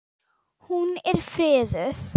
Hún er friðuð.